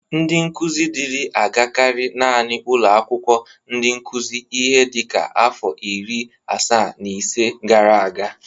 Ndị nkụzi dịri agakarị nanị ụlọ akwụkwó ndị nkụzị ihe dịka afọ iri asaa na ise gara aga.